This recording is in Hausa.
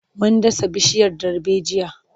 Mun dasa bishiyar darbejiya.